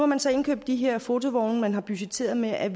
man så indkøbt de her fotovogne man har budgetteret med at